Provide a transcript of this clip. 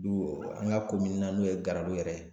Don an ka ko min na n'o ye Garalo yɛrɛ ye.